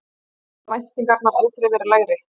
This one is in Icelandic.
Hafa væntingarnar aldrei verið lægri?